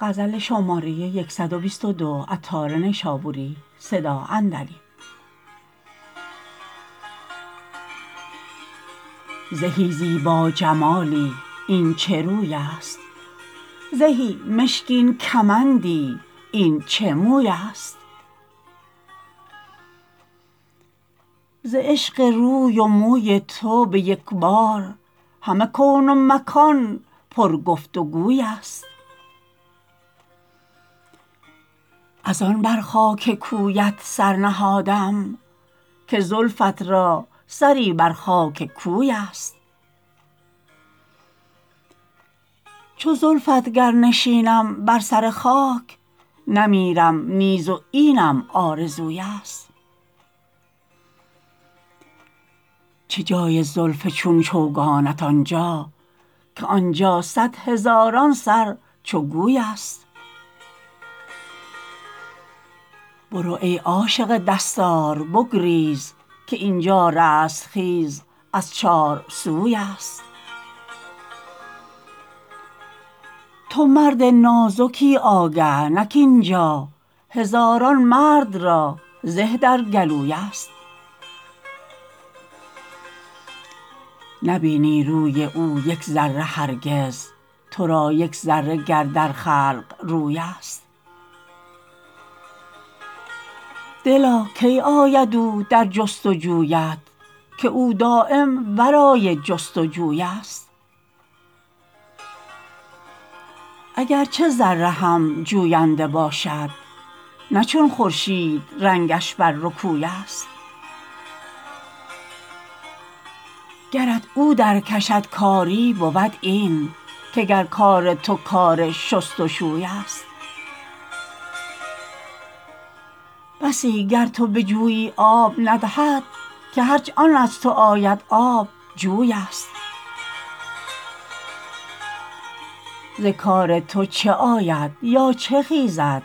زهی زیبا جمالی این چه روی است زهی مشکین کمندی این چه موی است ز عشق روی و موی تو به یکبار همه کون مکان پر گفت و گوی است از آن بر خاک کویت سر نهادم که زلفت را سری بر خاک کوی است چو زلفت گر نشینم بر سر خاک نمیرم نیز و اینم آرزوی است چه جای زلف چون چوگانت آنجا که آنجا صد هزاران سر چو گوی است برو ای عاشق دستار بگریز که اینجا رستخیز از چار سوی است تو مرد نازکی آگه نه کاینجا هزارن مرد را زه در گلوی است نبینی روی او یک ذره هرگز تو را یک ذره گر در خلق روی است دلا کی آید او در جست و جویت که او دایم ورای جست و جوی است اگرچه ذره هم جوینده باشد نه چون خورشید رنگش بر رکوی است گرت او در کشد کاری بود این که گر کار تو کار شست و شوی است بسی گر تو به جویی آب ندهد که هرچه آن از تو آید آب جوی است ز کار تو چه آید یا چه خیزد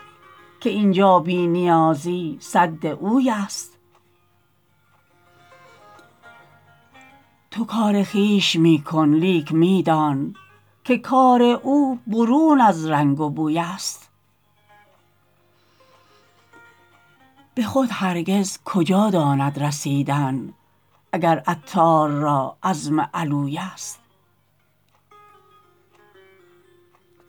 که اینجا بی نیازی سد اوی است تو کار خویش می کن لیک می دان که کار او برون از رنگ و بوی است به خود هرگز کجا داند رسیدن اگر عطار را عزم علوی است